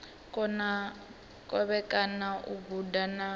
kona kovhekana u guda na